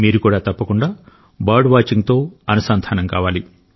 మీరు కూడా తప్పకుండా బర్డ్ వాచింగ్ తో అనుసంధానం కావాలి